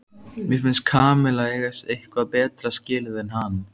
Mér finnst Kamilla eiga eitthvað betra skilið en hann.